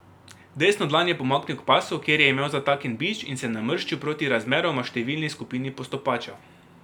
Desno dlan je pomaknil k pasu, kjer je imel zataknjen bič in se namrščil proti razmeroma številni skupini postopačev.